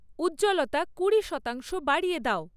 উজ্জ্বলতা কুড়ি শতাংশ বাড়িয়ে দাও